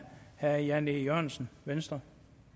herre jan e jørgensen venstre